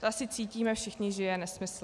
To asi cítíme všichni, že je nesmysl.